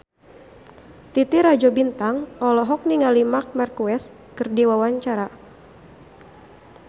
Titi Rajo Bintang olohok ningali Marc Marquez keur diwawancara